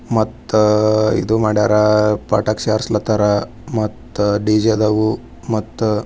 ಮತ್ತೆ ಪಟಾಕಿ ಹೊಡೆದವರ ಮತ್ತ ಡಿಜೆ ಐತಾ.